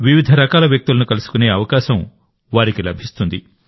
వివిధ రకాల వ్యక్తులను కలుసుకునే అవకాశం వారికి లభిస్తుంది